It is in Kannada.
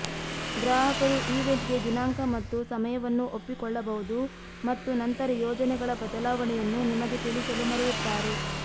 ಗ್ರಾಹಕರು ಈವೆಂಟ್ಗೆ ದಿನಾಂಕ ಮತ್ತು ಸಮಯವನ್ನು ಒಪ್ಪಿಕೊಳ್ಳಬಹುದು ಮತ್ತು ನಂತರ ಯೋಜನೆಗಳ ಬದಲಾವಣೆಯನ್ನು ನಿಮಗೆ ತಿಳಿಸಲು ಮರೆಯುತ್ತಾರೆ